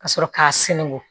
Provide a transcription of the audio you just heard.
Ka sɔrɔ k'a sɛngon